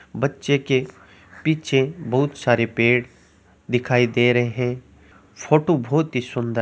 बच्चे के पीछे बहुत सारे पेड़ दिखाय दे रहे है फोटो बहुत ही सुन्दर--